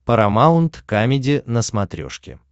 парамаунт камеди на смотрешке